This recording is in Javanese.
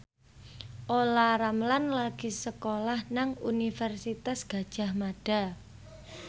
Olla Ramlan lagi sekolah nang Universitas Gadjah Mada